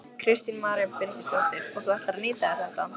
Kristín María Birgisdóttir: Og þú ætlar að nýta þér þetta?